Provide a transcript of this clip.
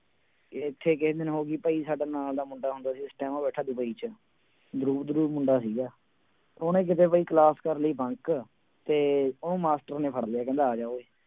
ਇੱਥੇ ਕਿਸੇ ਦਿਨ ਹੋ ਗਈ ਭਾਈ ਸਾਡਾ ਨਾਲ ਦਾ ਮੁੰਡਾ ਹੁੰਦਾ ਸੀ ਇਸ time ਉਹ ਬੈਠਾ ਡਬਈ ਚ ਮੁੰਡਾ ਸੀਗਾ ਉਹਨੇ ਕਿਤੇ ਬਾਈ class ਕਰ ਲਈ bunk ਤੇ ਉਹ ਮਾਸਟਰ ਨੇ ਫੜ ਲਿਆ ਕਹਿੰਦਾ ਆ ਜਾ ਓਏ